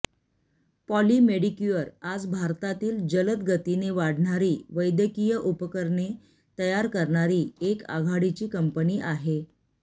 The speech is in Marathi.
पॉली मेडीक्युअर आज भारतातील जलद गतीने वाढणारी वैद्यकीय उपकरणे तयार करणारी एक आघाडीची कंपनी आहे